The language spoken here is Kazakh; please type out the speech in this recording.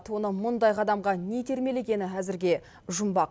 оны мұндай қадамға не итермелегені әзірге жұмбақ